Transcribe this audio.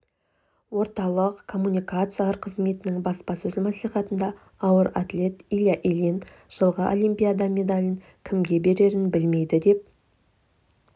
орталық коммуникациялар қызметінің баспасөз маслихатында ауыр атлет илья ильин жылғы олимпиада медалін кімге берерін білмейді деп